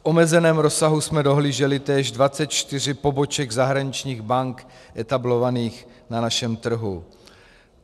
V omezeném rozsahu jsme dohlíželi též 24 poboček zahraničních bank etablovaných na našem trhu.